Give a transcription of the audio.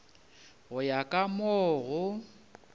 go ya ka mo go